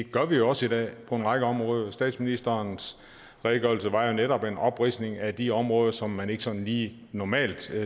gør vi også i dag på en række områder statsministerens redegørelse var jo netop en opridsning af de områder som man ikke sådan lige normalt